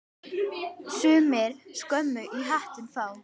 Sumir skömm í hattinn fá.